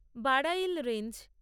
Barail range